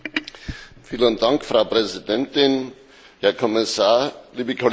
Frau Präsidentin, Herr Kommissar, liebe Kolleginnen und Kollegen!